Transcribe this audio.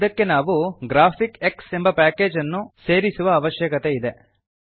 ಇದಕ್ಕೆ ನಾವು ಗ್ರಾಫಿಕ್ಸ್ ಎಂಬ ಪ್ಯಾಕೇಜನ್ನು ಸೇರಿಸುವ ಅವಶ್ಯಕತೆಯಿದೆ